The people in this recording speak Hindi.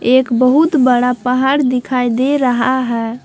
एक बहुत बड़ा पहाड़ दिखाई दे रहा है।